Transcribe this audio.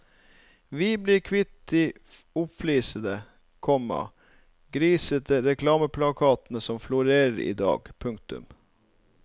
Vi blir kvitt de oppflisete, komma grisete reklameplakatene som florere i dag. punktum